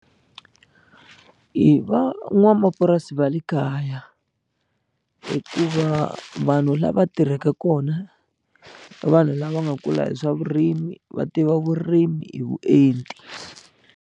I van'wamapurasi va le kaya hikuva vanhu lava tirhaka kona i vanhu lava nga kula hi swa vurimi va tiva vurimi hi vuenti.